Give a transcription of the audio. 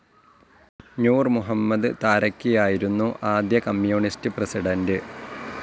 നൂർ മുഹമ്മദ് താരക്കി ആയിരുന്നു ആദ്യ communist president.